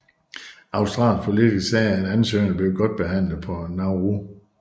Australske politikere sagde at ansøgerne blev godt behandlet på Nauru